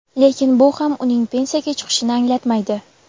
Lekin bu ham uning pensiyaga chiqishini anglatmaydi.